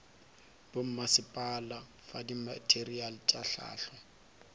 bommasepala fa dimateriale tša hlahlo